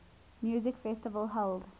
music festival held